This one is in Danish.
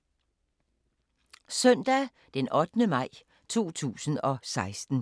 Søndag d. 8. maj 2016